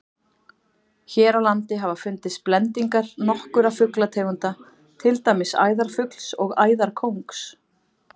Hér á landi hafa fundist blendingar nokkurra fuglategunda, til dæmis æðarfugls og æðarkóngs.